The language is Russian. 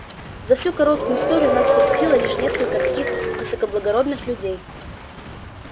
за всю короткую историю нас посетило лишь несколько таких высокоблагородных людей